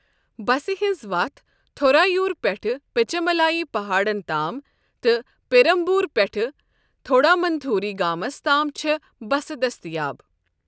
بسہِ ہِنٛز وَتھ تھورائیور پیٹھٕ پچیملائی پہاڑَن تام، تہٕ پیرمبور پیٹھٕ تھونڈامنتھوری گامَس تام چھےٚ بسہٕ دٔستیاب۔